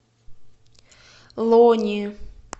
лони